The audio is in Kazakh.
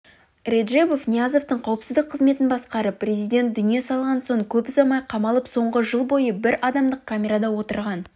реджебов ниязовтың қауіпсіздік қызметін басқарып президент дүние салған соң көп ұзамай қамалып соңғы жыл бойы бір адамдық камерада отырған